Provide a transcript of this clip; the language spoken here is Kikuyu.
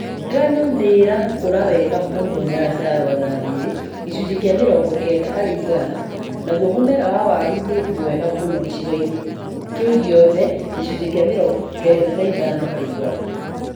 Ngano nĩ ĩrakũra wega mũno Nyandarua na Nyeri (gĩcunjĩ kĩa mĩrongo kenda harĩ igana) naguo mũmera wa waru nĩ mwega mũno gĩcigo-inĩ kĩu gĩothe (gĩcunjĩ kĩa mĩrongo kenda na ĩtano harĩ igana).